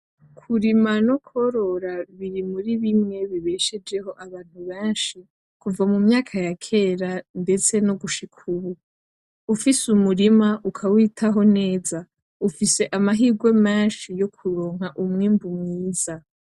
Kurima no korora biri muri bimwe bibeshejeho abantu benshi kumva mu myaka ya kera ndeste nogushika ubu ufise. Umurima ukawitaho neza ufise amahirwe menshi yokuronka umwibu mwiza.